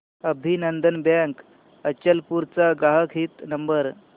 अभिनंदन बँक अचलपूर चा ग्राहक हित नंबर